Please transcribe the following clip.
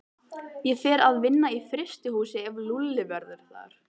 Ég fer að vinna í frystihúsi ef Lúlli verður þar.